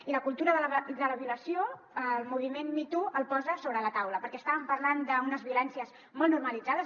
i la cultura de la violació el moviment me too la posa sobre la taula perquè estàvem parlant d’unes violències molt normalitzades